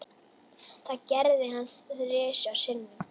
Þetta gerði hann þrisvar sinnum.